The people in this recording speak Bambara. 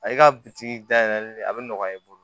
A y'i ka biriki da yɛlɛli a bi nɔgɔya i bolo